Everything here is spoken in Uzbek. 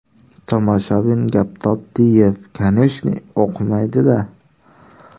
Tomoshabin Gaptopdiyev: Kaneshniy o‘qimaydi-da.